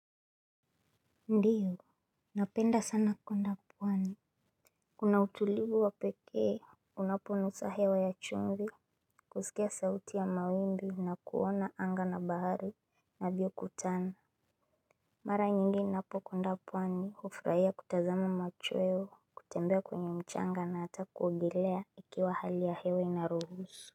Ndio, napenda sana kwenda pwani kuna utulivu wa pekee unaponusa hewa ya chumvi. Kusikia sauti ya mawimbi na kuona anga na bahari navyo kutana. Mara nyingi ninapo kwenda pwani hufurahia kutazama machweo, kutembea kwenye mchanga na hata kuogelea ikiwa hali ya hewa inaruhusu.